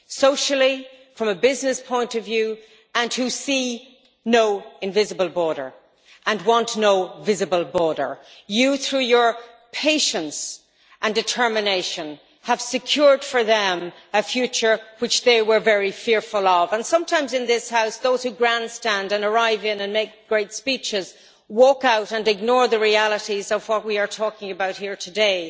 socially, from a business point of view, who see no invisible border, and want no visible border. Through his patience and determination, Mr Barnier has secured for them a future of which they were very fearful. Sometimes in this House those who grandstand, arrive and make great speeches, walk out and ignore the realities of what we are talking about here today.